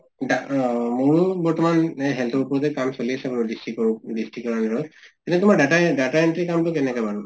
দা অহ মোৰো বৰ্তমান এহ health ৰ ওপৰতে কাম চলি আছে district ৰ district ৰ হেৰিঅত। এতিয়া তোমাৰ data data entry কাম্টো কেনেকা বাৰু?